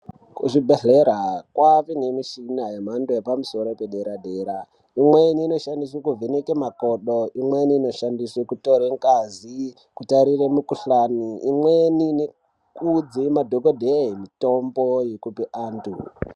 Kuzvibhadhlera kwave nemishina yemhando yepamusoro padera-dera. Imweni inoshandiswe kuvheneka makodo, imweni inoshandiswe kutore ngazi kutarire mukuhlani, imweni nekuudze madhokodheya mitombo yekupe antu.